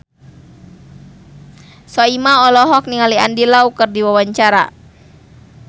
Soimah olohok ningali Andy Lau keur diwawancara